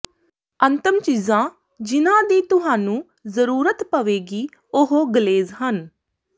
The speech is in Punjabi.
ਅੰਤਮ ਚੀਜ਼ਾਂ ਜਿਹਨਾਂ ਦੀ ਤੁਹਾਨੂੰ ਜ਼ਰੂਰਤ ਪਵੇਗੀ ਉਹ ਗਲੇਜ਼ ਹਨ